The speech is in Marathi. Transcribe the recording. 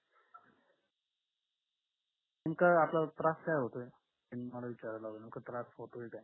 नेमका आपल्याला त्रास काय होतोय त्यांनी मला विचारायला लावलं नेमका त्रास होतोय काय